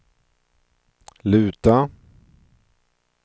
luta